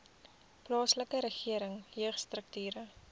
plaaslike regering jeugstrukture